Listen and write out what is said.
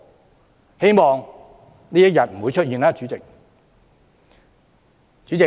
主席，希望這一天不會出現。